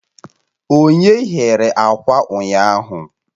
Onye ghere akwa ụnyaahụ?